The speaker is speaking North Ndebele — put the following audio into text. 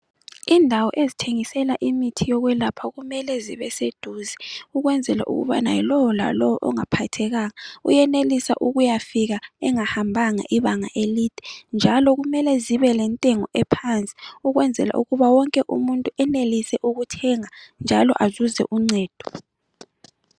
Indawo ezithengisela imithi yokwelapha kumele zibe seduze, ukwenzela ukubana lowo lalowo ongaphathekanga uyenelisa ukuya fika engahambanga ibanga elinde njalo kumele zibe lentengo phansi ukwenzela ukubana wonke umuntu enelise ukuthenga njalo azuze uncedo.